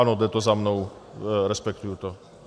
Ano, jde to za mnou, respektuji to.